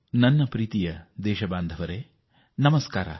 ನನ್ನ ದೇಶವಾಸಿಗಳೇ ನಮಸ್ಕಾರ